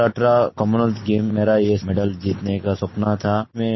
2018 Commonwealth game मेरा ये medal जीतने का सपना था